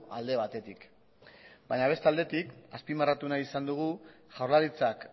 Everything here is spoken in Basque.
alde batetik baina beste aldetik azpimarratu nahi izan dugu jaurlaritzak